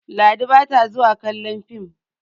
Ladi ba ta zuwa kallon fim